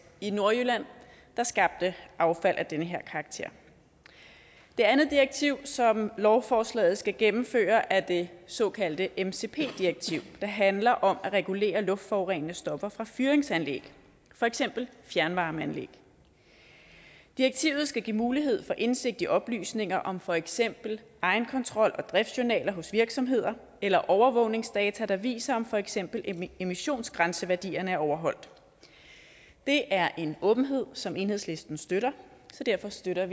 i nordjylland der skabte affald af den her karakter det andet direktiv som lovforslaget skal gennemføre er det såkaldte mcp direktiv der handler om at regulere luftforurenende stoffer fra fyringsanlæg for eksempel fjernvarmeanlæg direktivet skal give mulighed for indsigt i oplysninger om for eksempel egenkontrol og driftjournaler hos virksomheder eller overvågningsdata der viser om for eksempel emissionsgrænseværdierne er overholdt det er en åbenhed som enhedslisten støtter så derfor støtter